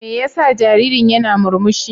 Me yasa jaririn yana murmushi?